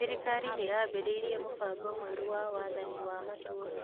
Thirikari nĩyambĩrĩirie mũbango mwerũ wa wathani wa matũra